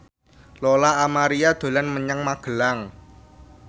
Lola Amaria dolan menyang Magelang